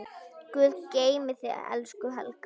Guð geymi þig, elsku Helga.